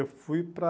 Eu fui para...